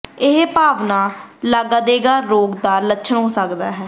ਇਹ ਭਾਵਨਾ ਲਾਗਾਦੇਗਾ ਰੋਗ ਦਾ ਲੱਛਣ ਹੋ ਸਕਦਾ ਹੈ